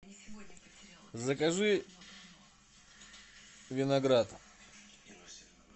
закажи виноград